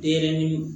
E yɛrɛ ni